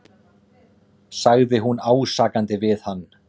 sagði hún ásakandi við hann.